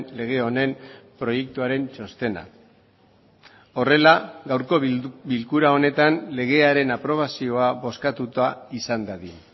lege honen proiektuaren txostena horrela gaurko bilkura honetan legearen aprobazioa bozkatuta izan dadin